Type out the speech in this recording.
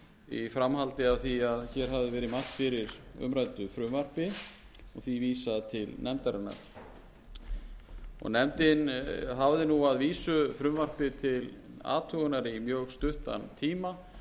í framhaldi af því að hér hafði verið mælt fyrir umræddu frumvarpi og því vísað til nefndarinnar nefndin hafði nú að vísu frumvarpið til athugunar í mjög stuttan tíma